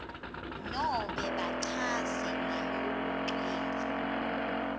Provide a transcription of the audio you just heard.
nobe bachaze ngalokugcwele